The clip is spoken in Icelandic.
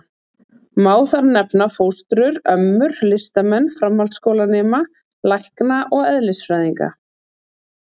Má þar nefna: fóstrur, ömmur, listamenn, framhaldsskólanema, lækna og eðlisfræðinga.